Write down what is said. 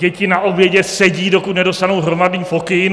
Děti na obědě sedí, dokud nedostanou hromadný pokyn.